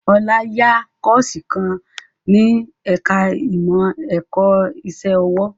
Ọlá ń yá Kọ́ọ̀sì kan ní ẹ̀ka ìmọ̀ ẹ̀kọ́ iṣẹ́ ọwọ́